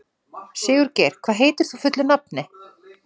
Sigurgeir, hvað heitir þú fullu nafni?